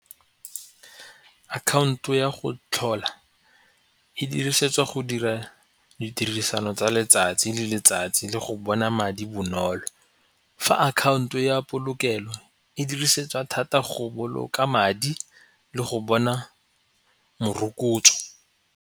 Akhaonto ya go tlhola e dirisetswa go dira ditirisano tsa letsatsi le letsatsi le go bona madi bonolo. Fa akhaonto ya polokelo e dirisetswa thata go boloka madi le go bona morokotso.